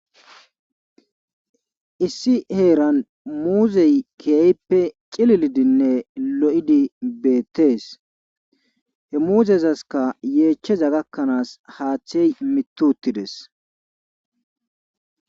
Issi heeran muuzey keehippe cililidinne lo7idi beettees he muuzezaskka yeechaza gakkanaaskka haathey mittittides.